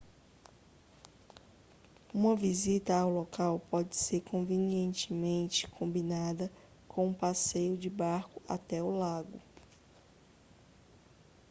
uma visita ao local pode ser convenientemente combinada com um passeio de barco até o lago